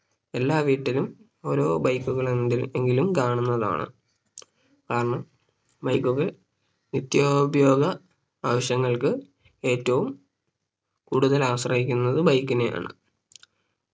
എല്ലാ വീട്ടിലും ഒരു Bike കളെങ്കി എങ്കിലും കാണുന്നതാണ് കാരണം Bike കൾ നിത്യോപയോഗ ആവശ്യങ്ങൾക്ക് ഏറ്റവും കൂടുതൽ ആശ്രയിക്കുന്നത് Bike നെയാണ്